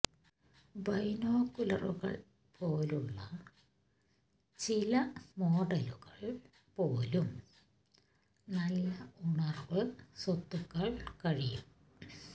ബൈനോക്കുലറുകൾ പോലുള്ള ചില മോഡലുകൾ പോലും നല്ല ഉണർവ് സ്വത്തുകൾ കഴിയും